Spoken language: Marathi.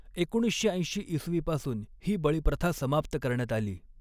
एकोणीसशे ऐंशी इसवी पासून ही बळीप्रथा समाप्त करण्यात आली.